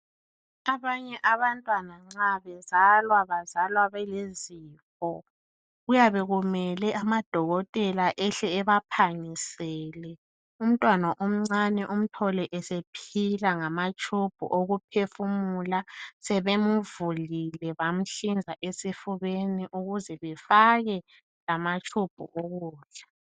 Abanye abantwana nxa bezalwa bazalwa belezifo. Kuyabe kumele amadokotela ehle ebaphangisele. Umntwana omncane umthole esephila ngamatshubhu okuphefumula, sebemvulile bamhlinza esifubeni ukuze befake lamatshubhu okutsha.